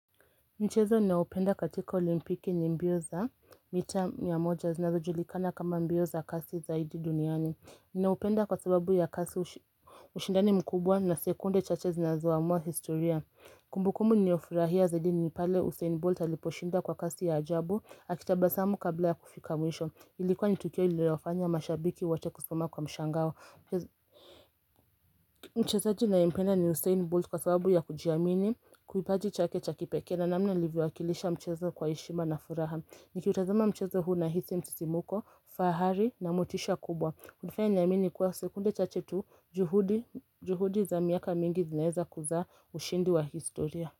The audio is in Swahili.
Mchezo ninaoupenda katika olimpiki ni mbio za mita mia moja zinazo julikana kama mbio za kasi zaidi duniani. Ninaupenda kwa sababu ya kasi ushindani mkubwa na sekunde chache zinazo amua historia. Kumbukumu niliyofurahia zaidi ni pale Usain Bolt aliposhinda kwa kasi ya ajabu, akitabasamu kabla ya kufikamwisho. Ilikuwa ni tukio lililowafanya mashabiki wote kusema kwa mshangao. Mchezaji ninaempenda ni Usain Bolt kwa sababu ya kujiamini kipaji chake cha kipekee. Na namna livyowakilisha mchezo kwa heshima na furaha Niki utazama mchezo huu na hisi msisimuko fahari na motisha kubwa kunifanya niamini kuwa sekunde chache tu juhudi za miaka mingi zinaweza kuzaa ushindi wa historia.